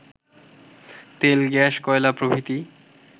তেল-গ্যাস-কয়লা প্রভৃতি